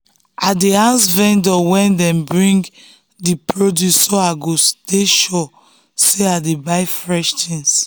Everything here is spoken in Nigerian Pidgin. i dey ask vendor when dem bring the produce so i go go sure say i dey buy fresh things.